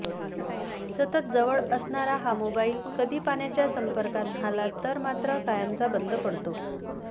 सतत जवळ असणारा हा मोबाइल कधी पाण्याच्या संपर्कात आला तर मात्र कायमचा बंद पडतो